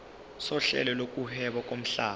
sohlelo lokuhweba lomhlaba